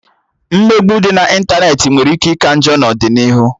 Mmegbu dị na ịntanetị nwere ike ika njọ n'ọdịnihu